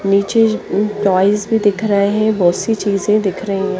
निचे जी टॉयज भी दिख रहे है बोत सी चीजे दिख रही है।